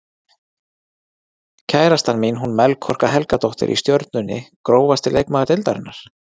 Kærastan mín hún Melkorka Helgadóttir í Stjörnunni Grófasti leikmaður deildarinnar?